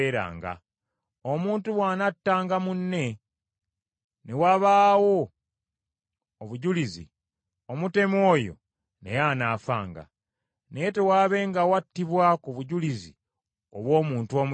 Omuntu bw’anattanga munne, ne wabaawo obujulizi, omutemu oyo naye anaafanga. Naye tewaabengawo attibwa ku bujulizi obw’omuntu omu yekka.